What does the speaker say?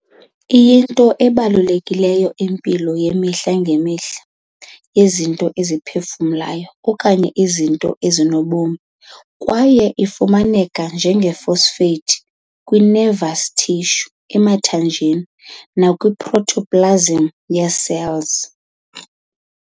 Iyinto ebalulekileyo kwimpilo yemihla ngemihla yezinto eziphefumlayo okanye izinto ezinobom kwaye ifumaneka njenge-phosphate kwi-nervous tissue, emathanjeni nakwi-protoplasm yee-cells.